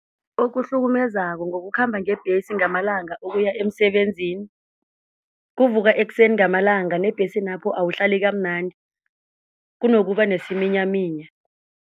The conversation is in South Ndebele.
Okuhlukumezako ngokukhamba ngebhesi ngamalanga ukuya emsebenzini kuvuka ekuseni ngamalanga nebhesini lapho awuhlali kamnandi kunokuba nesiminyaminya.